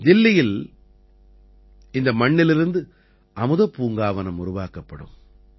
தில்லியில் இந்த மண்ணிலிருந்து அமுதப் பூங்காவனம் உருவாக்கப்படும்